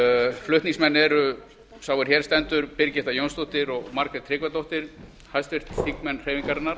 flutningsmenn eru sá er hér stendur birgitta jónsdóttir og margrét tryggvadóttir háttvirtir þingmenn hreyfingarinnar